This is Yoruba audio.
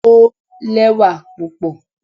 o lẹwa pupọ